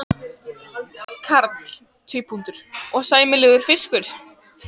Karl: Og sæmilegur fiskur?